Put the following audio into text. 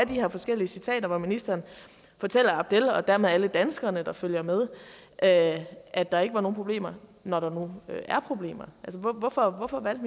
de her forskellige citater hvor ministeren fortæller abdel og dermed alle de danskere der følger med at at der ikke var nogen problemer når der nu var problemer hvorfor hvorfor valgte